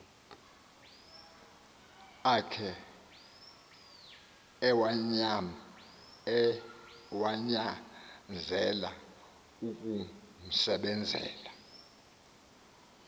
akhe ewanyanzela ukumsebenzela